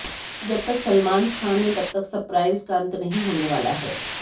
जब तक सलमान खान हैं तब तक सप्राइज का अंत नहीं होने वाला है